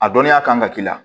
A dɔnniya kan ka k'i la